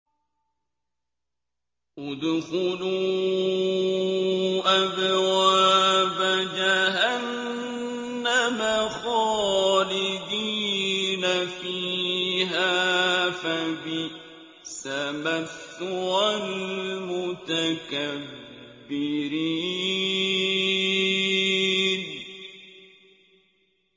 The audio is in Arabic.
ادْخُلُوا أَبْوَابَ جَهَنَّمَ خَالِدِينَ فِيهَا ۖ فَبِئْسَ مَثْوَى الْمُتَكَبِّرِينَ